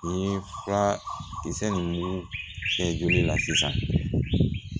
I ye fura kisɛ ninnu kɛ joli la sisan